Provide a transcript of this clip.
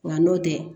Wa n'o tɛ